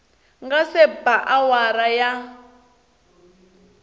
nga se ba awara ya